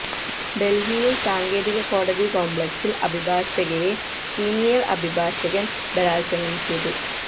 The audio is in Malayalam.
ഡൽഹിയിൽ സാകേത് കോടതി കോംപ്ലക്സിൽ അഭിഭാഷകയെ സീനിയർ അഭിഭാഷകൻ ബലാൽസംഗം ചെയ്തു